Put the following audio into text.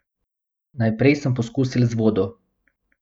Najprej sem poskusil z vodo.